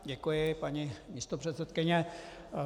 Děkuji, paní místopředsedkyně.